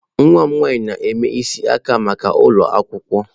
Nwa m nwanyị na-eme isi aka maka ụlọ akwụkwọ.